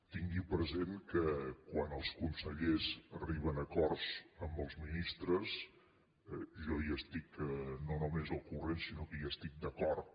tingui present que quan els consellers arriben a acords amb els ministres jo n’estic no només al cor·rent sinó que hi estic d’acord